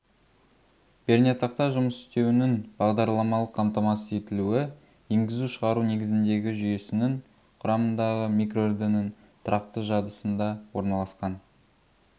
пернетақта жұмыс істеуінің бағдарламалық қамтамасыз етілуі енгізу-шығару негізіндегі жүйесінің құрамындағы микроүрдінің тұрақты жадысында орналасқан